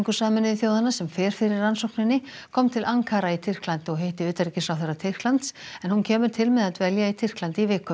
Sameinuðu þjóðanna sem fer fyrir rannsókninni kom til Ankara í Tyrklandi og hitti utanríkisráðherra Tyrklands en hún kemur til með að dvelja í Tyrklandi í viku